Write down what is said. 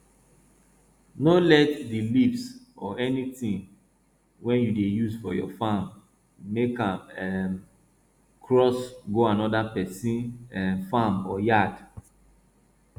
no let di leaves or anytin wey you dey use for your farm make um am cross go another pesin um farm or yard